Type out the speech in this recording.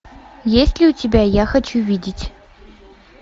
есть ли у тебя я хочу видеть